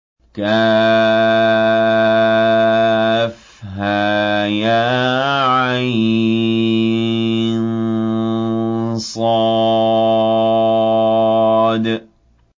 كهيعص